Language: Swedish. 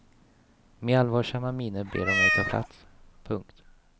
Med allvarsamma miner ber de mig ta plats. punkt